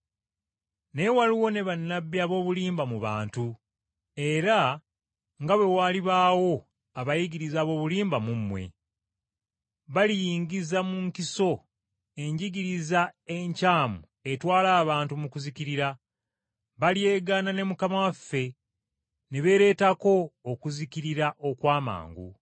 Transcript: Naye waaliwo ne bannabbi ab’obulimba mu bantu, era nga bwe walibaawo abayigiriza ab’obulimba mu mmwe. Baliyingiza mu nkiso enjigiriza enkyamu etwala abantu mu kuzikirira. Balyegaana ne Mukama waffe, ne beereetako okuzikirira okw’amangu.